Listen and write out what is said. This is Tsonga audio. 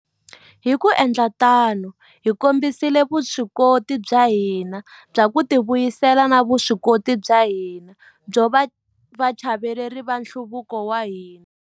Hi ku endla tano, hi kombisile vuswikoti bya hina bya ku tivuyisela na vuswikoti bya hina byo va vachayeri va nhluvuko wa hina.